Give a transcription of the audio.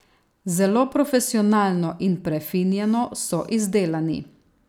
Zelo profesionalno in prefinjeno so izdelani.